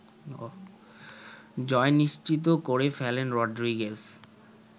জয় নিশ্চিত করেফেলেন রদ্রিগেস